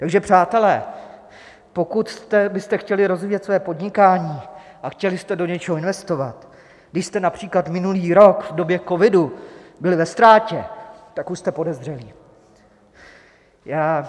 Takže přátelé, pokud byste chtěli rozvíjet své podnikání a chtěli jste do něčeho investovat, když jste například minulý rok v době covidu byli ve ztrátě, tak už jste podezřelí.